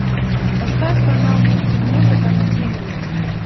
поставь канал мультимузыка на тиви